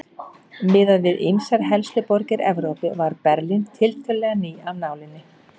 Miðað við ýmsar helstu borgir Evrópu var Berlín tiltölulega ný af nálinni.